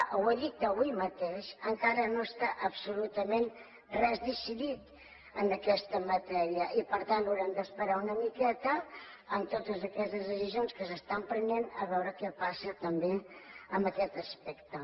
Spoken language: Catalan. ho ha dit avui mateix encara no està absolutament res decidit en aquesta matèria i per tant haurem d’esperar una miqueta en totes aquestes decisions que s’estan prenent a veure què passa també amb aquest aspecte